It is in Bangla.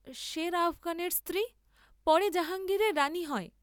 সের আফগানের স্ত্রী, পরে জাহাঙ্গীরের রাণী হয়।